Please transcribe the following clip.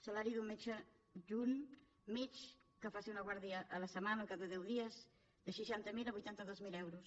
salari d’un metge adjunt mig que faci una guàrdia a la setmana al cap de deu dies de seixanta mil a vuitanta dos mil euros